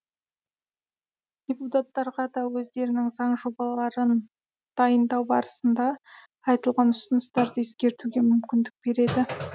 депутаттарға да өздерінің заң жобаларын дайындау барысында айтылған ұсыныстарды ескертуге мүмкіндік береді